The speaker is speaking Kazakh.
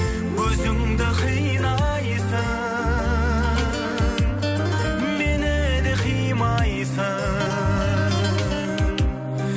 өзіңді қинайсың мені де қимайсың